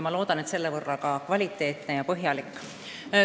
Loodan, et tänu sellele on see ka kvaliteetne ja põhjalik.